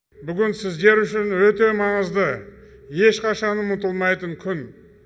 бүгін сіздер үшін өте маңызды ешқашан ұмытылмайтын күн